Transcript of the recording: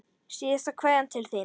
Síðasta kveðja til þín.